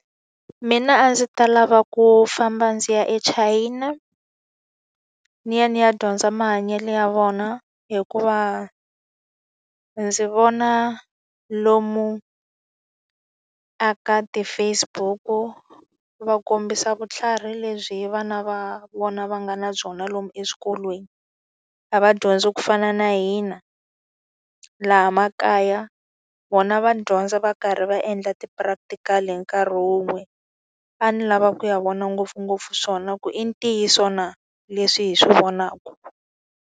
Mina a ndzi ta lava ku famba ndzi ya eChina, ni ya ni ya dyondza mahanyelo ya vona. Hikuva ndzi vona lomu eka ti-Facebook-u va kombisa vutlhari lebyi vana va vona va nga na byona lomu eswikolweni. A va dyondzi ku fana na hina laha laha makaya, vona va dyondza va karhi va endla ti-practical-i hi nkarhi wun'we. A ni lavaka ku ya vona ngopfungopfu swona ku i ntiyiso na leswi hi swi vonaka.